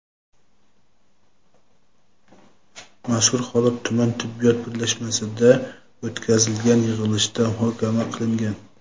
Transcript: mazkur holat tuman tibbiyot birlashmasida o‘tkazilgan yig‘ilishda muhokama qilingan.